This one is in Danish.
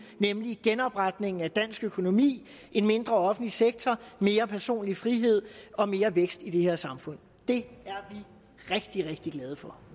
nemlig genopretningen af dansk økonomi en mindre offentlig sektor mere personlig frihed og mere vækst i det her samfund det er vi rigtig rigtig glade for